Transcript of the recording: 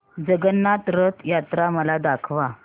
जगन्नाथ रथ यात्रा मला दाखवा